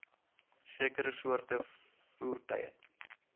sekere soorte voertuie